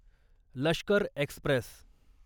Lashkar Express